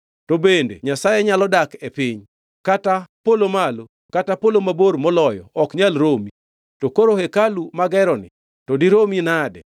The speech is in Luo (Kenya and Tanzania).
“To bende Nyasaye nyalo dak e piny? Kata polo malo kata polo mabor moloyo ok nyal romi. To koro hekalu mageroni, to diromi nade!